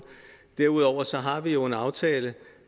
derudover har vi jo en aftale